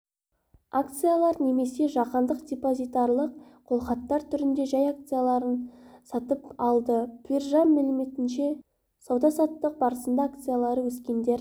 акциялар және жаһандық депозитарлық қолхаттар түрінде жай акцияларын сатып алды биржа мәліметінше сауда-саттық барысында акциялары өскендер